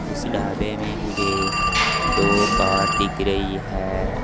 इस ढाबे में मुझे दो कार दिख रही है।